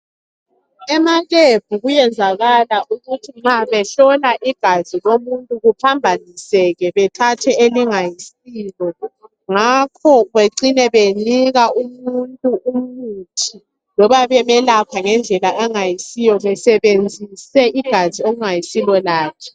Emalebhu kuyenzakala ukuthi nxa behlola igazi lomuntu kuphambaniseke bethathe elingayisilo ngakho becine benika umuntu umuthi loba bemelaphe ngendlela angayisiyo besebenzise igazi okungayisilo lakhe.